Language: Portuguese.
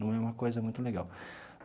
Não é uma coisa muito legal.